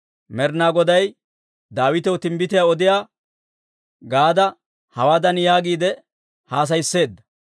Med'inaa Goday Daawitaw timbbitiyaa odiyaa Gaada hawaadan yaagiide haasayisseedda;